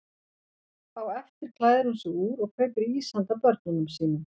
Á eftir klæðir hún sig úr og kaupir ís handa börnunum sínum.